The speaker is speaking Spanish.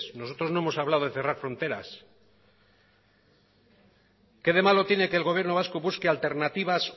nosotros no hemos hablado de cerrar fronteras qué de malo tiene que el gobierno vasco busque alternativas